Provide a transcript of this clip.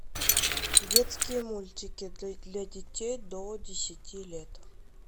детские мультики для детей до десяти лет